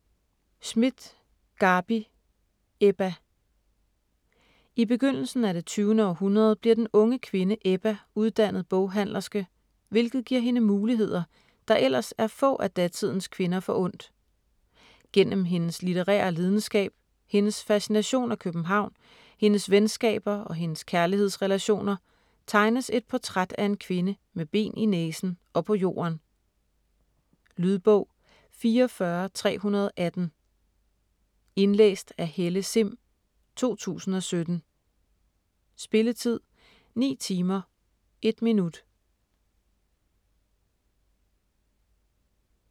Schmidt, Garbi: Ebba I begyndelsen af det 20. århundrede bliver den unge kvinde Ebba uddannet boghandlerske, hvilket giver hende muligheder, der ellers er få af datidens kvinder forundt. Gennem hendes litterære lidenskab, hendes fascination af København, hendes venskaber og hendes kærlighedsrelationer tegnes et portræt af en kvinde med ben i næsen og på jorden. Lydbog 44318 Indlæst af Helle Sihm, 2017. Spilletid: 9 timer, 1 minut.